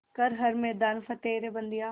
कर हर मैदान फ़तेह रे बंदेया